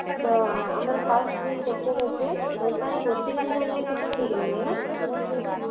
ଯୋଉ ଆମର first ଯୋଉ picture ଅଛି ସେଇଟାର question answer ଯାକ କିଛି ଠିକ ନାହିଁ ନା